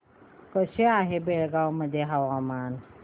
कसे आहे बेळगाव मध्ये हवामान